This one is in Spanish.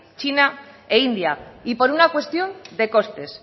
china e india y por una cuestión de costes